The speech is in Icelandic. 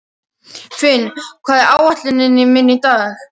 Finn, hvað er á áætluninni minni í dag?